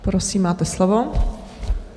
Prosím, máte slovo.